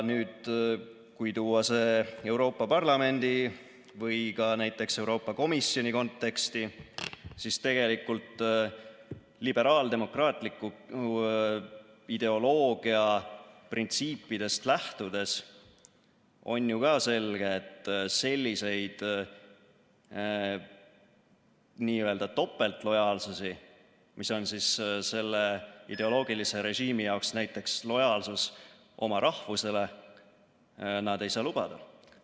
Kui tuua see Euroopa Parlamendi või ka näiteks Euroopa Komisjoni konteksti, siis tegelikult liberaaldemokraatliku ideoloogia printsiipidest lähtudes on ju ka selge, et selliseid n‑ö topeltlojaalsusi, mis on selle ideoloogilise režiimi jaoks näiteks lojaalsus oma rahvusele, nad ei saa lubada.